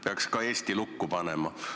Peaksime ka Eesti lukku panema.